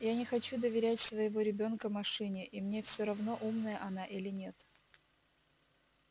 я не хочу доверять своего ребёнка машине и мне всё равно умная она или нет